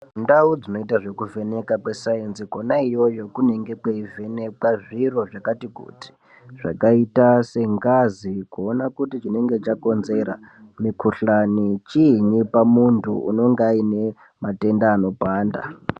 Ndau dzinoita zvekuvheneka kwesainzi kona iyoyo kunenge kweivhenekwa zviro zvakati kuti zvakaita sengazi kuona kuti chinenge chakonzera mukuhlani chini pamutuntu unonga aine matenda anopanda .